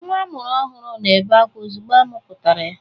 Nwa a mụrụ ọhụrụ na-ebe akwa ozugbo a mụpụtara ya.